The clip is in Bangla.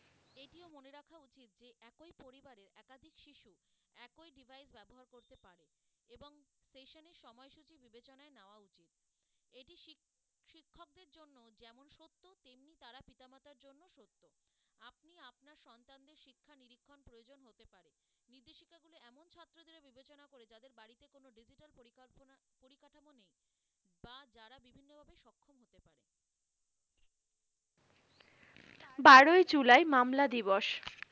বারোই জুলাই মামলা দিবস,